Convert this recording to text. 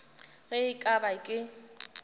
ge e ka ba ke